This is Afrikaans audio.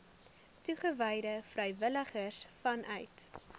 toegewyde vrywilligers vanuit